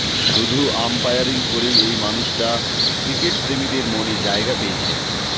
শুধু আম্পায়ারিং করেই এই মানুষটা ক্রিকেটপ্রেমীদের মনে জায়গা পেয়েছেন